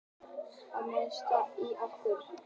Og mesta óöryggið í okkur.